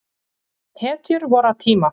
Hetju vorra tíma.